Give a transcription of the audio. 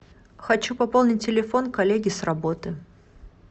хочу пополнить телефон коллеги с работы